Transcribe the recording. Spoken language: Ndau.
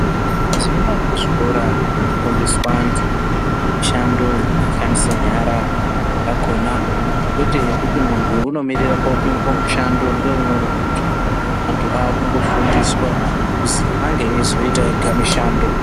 Mazuwa anaa kuzvikora kwofundiswa antu mishando yekushandisa nyara yakhona kwete yekuti munhu unomirire koopinzwe mushando ngeumweni muntu. Vanhu vakungofundiswa kuti ange eizoite ega mishando.